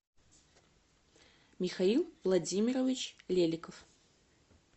михаил владимирович леликов